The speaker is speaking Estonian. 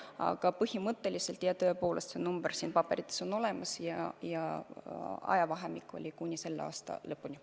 Aga põhimõtteliselt, jah, see on paberites olemas, et ajavahemik on kuni selle aasta lõpuni.